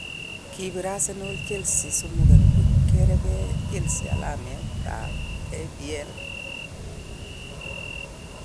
Kobir Arsenal, Chelsea3_0 kireben Chelsea alamet tab EPL.